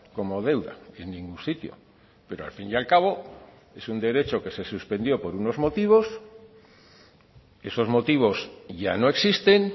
como deuda en ningún sitio pero al fin y al cabo es un derecho que se suspendió por unos motivos esos motivos ya no existen